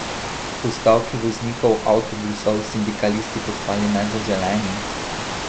Po stavki voznikov avtobusov sindikalisti postali nezaželeni?